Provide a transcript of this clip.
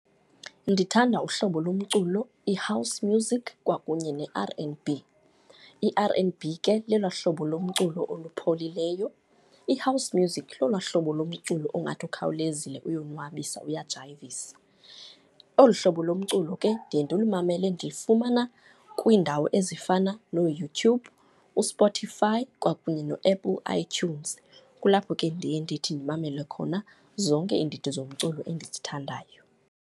Ndithanda uhlobo lomculo i-house music kwakunye ne-R and B. I-R and B ke lelwaa hlobo lomculo oluphilileyo, i-house music lolwaa hlobo lomculo ongathi ukhawulezile, uyonwabisa, uyajayivisa. Olu hlobo lomculo ke, ndiye ndilumele ndilufumana kwiindawo ezifana nooYouTube, uSpotify kwakunye neApple iTunes. Kulapho ke ndiye ndithi ndimamele khona zonke iindidi zomculo endizithandayo.